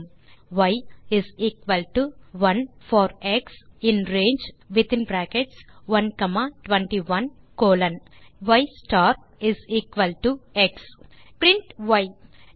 y is equal to 1 for x in range121 y star is equal to x பின் நாம் y ஐ print செய்ய வேண்டும்